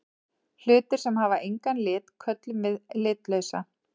Hlutir sem hafa engan lit köllum við litlausa.